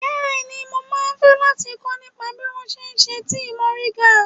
Bẹ́ẹ̀ni, mo máa fẹ́ láti kọ́ nípa bí wón ṣe ń ṣe tíì mòríńgà.